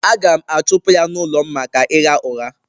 Aga m achụpụ ya n’ụlọ m maka ịgha ụgha.